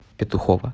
петухово